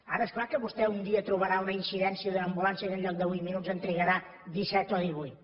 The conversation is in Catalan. ara és clar que vostè un dia trobarà una incidència d’una ambulància que en lloc de vuit minuts en trigarà disset o divuit